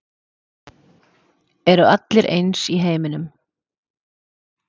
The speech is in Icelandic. Eru allir eins í heiminum?